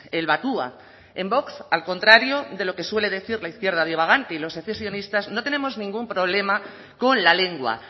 el batua en vox al contrario de lo que suele decir la izquierda divagante y los secesionistas no tenemos ningún problema con la lengua